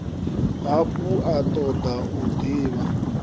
hafhu a toda u divha